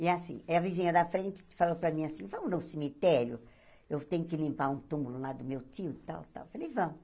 E assim, é a vizinha da frente falou para mim assim, vamos no cemitério, eu tenho que limpar um túmulo lá do meu tio e tal e tal, eu falei, vamos.